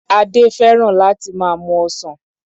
Adé fẹ́ràn láti máa mu ọsàn.